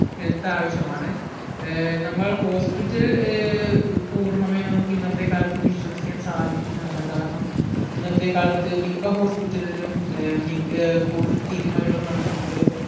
health ആവിശ്യമാണ് ഏർ നമ്മൾ hospital ഏർ പൂർണ്ണമായി നമ്മക്ക് ഇന്നത്തെ കാലത്ത് വിശ്വസിക്കാൻ സാധിക്കുന്നതല്ല കാരണം ഇന്നത്തെ കാലത്ത് മിക്ക hospital ലിലും ഏർ മി ഏർ കൂടുതൽ തിരിമറികൾ നടക്കുന്നുണ്ട്